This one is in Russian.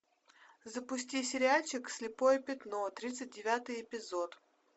запусти сериальчик слепое пятно тридцать девятый эпизод